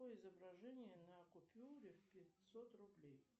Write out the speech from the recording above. какое изображение на купюре в пятьсот рублей